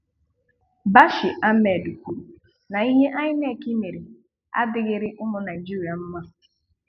Bashir Ahmad kwùrù na ihe INEC mere adịghịrị ụmụ Naịjíríà mma.